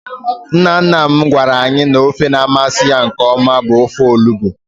Nna nna m gwara anyị n'ofe na-amasị ya nkeọma bụ ofe olugbo.